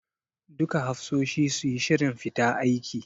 Duka hafsoshi suyi shirin fita aiki.